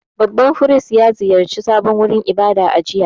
Babban firist ya ziyarci sabon wurin ibada a jiya.